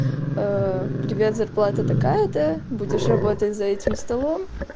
привет зарплата такая то будешь работать за этим столом